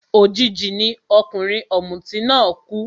Òjijì ni ọkùnrin ọ̀mùtí náà kú